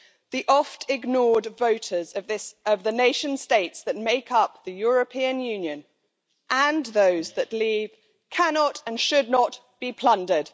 The oft ignored voters of the nation states that make up the European Union, and those that leave, cannot and should not be plundered.